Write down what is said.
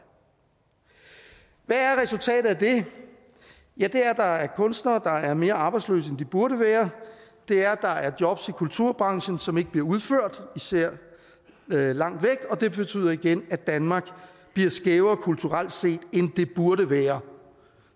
hvad er resultatet af det ja det er at der er kunstnere der er mere arbejdsløse end de burde være det er at der er jobs i kulturbranchen som ikke bliver udført især langt væk og det betyder igen at danmark bliver skævere kulturelt set end det burde være